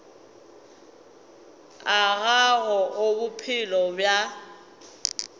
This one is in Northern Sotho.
a gago a bophelo bja